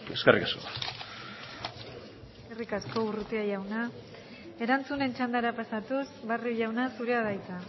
eskerrik asko eskerrik asko urrutia jauna erantzunen txandara pasatuz barrio jauna zurea da hitza